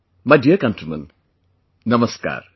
My dear countrymen, Namaskar